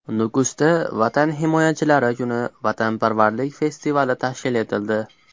Nukusda Vatan himoyachilari kuni vatanparvarlik festivali tashkil etildi.